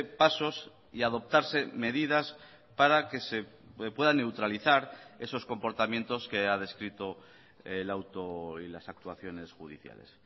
pasos y adoptarse medidas para que se puedan neutralizar esos comportamientos que ha descrito el auto y las actuaciones judiciales